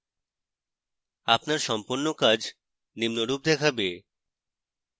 আপনার সম্পন্ন কাজ নিম্নরূপ দেখাবে